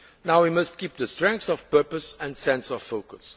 year. Now we must keep the strength of purpose and sense of